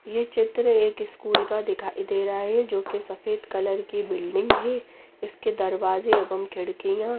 ये चित्र एक स्कूल का दिखाई दे रहा है जोकि सफेद कलर की बिल्डिंग है इसके दरवाजे एवं खिड़कियाँ--